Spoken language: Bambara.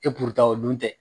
E o dun tɛ